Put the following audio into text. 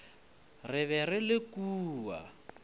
re be re le kua